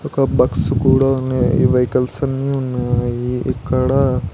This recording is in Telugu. ఒక బగ్స్ కూడా ఉన్నాయి ఈ వెహికల్స్ అన్నీ ఉన్నాయి అవి ఇక్కడ--